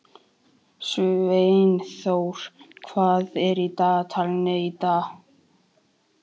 Sveinþór, hvað er á dagatalinu í dag?